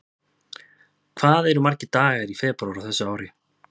Hvað eru margir dagar í febrúar á þessu ári?